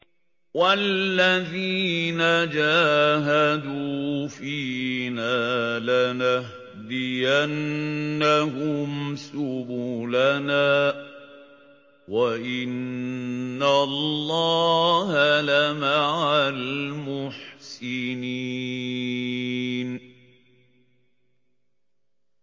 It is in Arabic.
وَالَّذِينَ جَاهَدُوا فِينَا لَنَهْدِيَنَّهُمْ سُبُلَنَا ۚ وَإِنَّ اللَّهَ لَمَعَ الْمُحْسِنِينَ